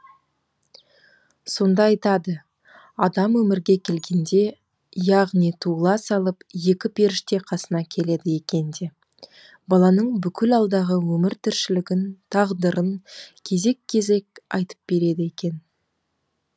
сонда айтады адам өмірге келгенде яғни туыла салып екі періште қасына келеді екен де баланың бүкіл алдағы өмір тіршілігін тағдырын кезек кезек айтып береді екен